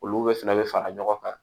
Olu bɛɛ fɛnɛ bɛ fara ɲɔgɔn kan